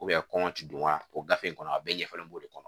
kɔnkɔ ti don wa o gafe in kɔnɔ a bɛɛ ɲɛfɔlen b'o de kɔnɔ